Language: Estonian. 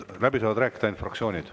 Läbi saavad rääkida ainult fraktsioonid.